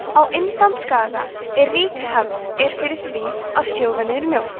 á indlandsskaga er rík hefð er fyrir því að sjóða niður mjólk